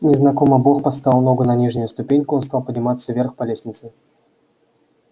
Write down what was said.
незнакомо бог поставил ногу на нижнюю ступеньку он стал подниматься вверх по лестнице